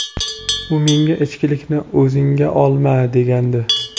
U menga ‘ichkilikni og‘zingga olma’ degandi.